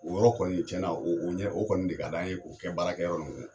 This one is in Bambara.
O yɔrɔ kɔni tiɲɛna o o ɲɛ o kɔni de ka d'an ye k'o kɛ baarakɛyɔrɔ